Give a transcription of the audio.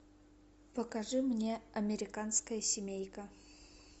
покажи мне американская семейка